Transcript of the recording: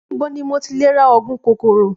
Níbo ni mo ti lè ra ògùn kòkòrò?